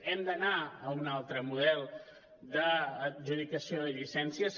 hem d’anar a un altre model d’adjudicació de llicències